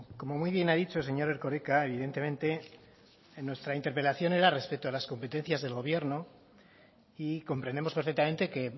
como muy bien ha dicho señor erkoreka evidentemente en nuestra interpelación era respecto a las competencias del gobierno y comprendemos perfectamente que